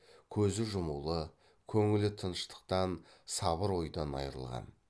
көзі жұмулы көңілі тыныштықтан сабыр ойдан айрылған